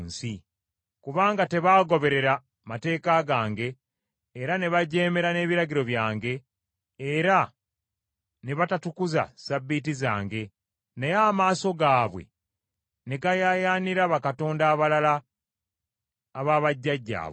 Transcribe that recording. kubanga tebaagoberera mateeka gange era ne bajeemera n’ebiragiro byange, era ne batatukuza Ssabbiiti zange, naye amaaso gaabwe ne gayaayaanira bakatonda abalala aba bajjajjaabwe.